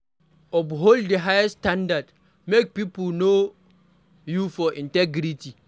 Uphold di highest standard, make pipo know you for integrity